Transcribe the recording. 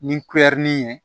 Ni kulɛri ye